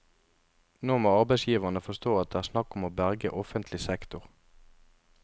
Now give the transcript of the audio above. Nå må arbeidsgiverne forstå at det er snakk om å berge offentlig sektor.